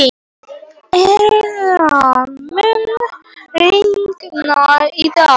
Einara, mun rigna í dag?